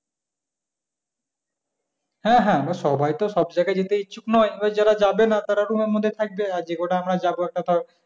হ্যাঁ হ্যাঁ এবার সবাই তো সব জায়গায় যেতে ইচ্ছুক নয় এবারে যারা যাবে না তারা room এর মধ্যে থাকবে এবারে যে কটা আমরা যাবো একটা তাও এখান,